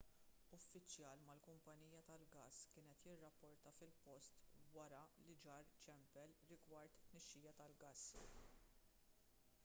uffiċjal mal-kumpanija tal-gass kien qed jirrapporta fil-post wara li ġar ċempel rigward tnixxija tal-gass